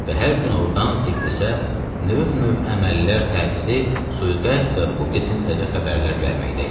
Və hər gün ordan Tiflisə növ-növ əməllər, tətili, sui-qəsd və bu qisim təzə xəbərlər gəlməkdə idi.